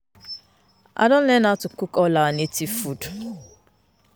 I don learn how to cook all our native food